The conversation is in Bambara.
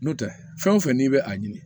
N'o tɛ fɛn o fɛn n'i bɛ a ɲini